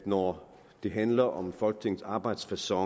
når det handler om folketingets arbejdsfacon